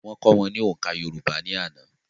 Wọ́n kọ́ wọn ní òǹkà yorùbá ní àná